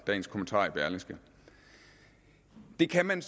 dagens kommentar i berlingske det kan man